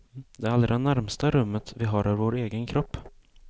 Det allra närmsta rummet vi har är vår egen kropp.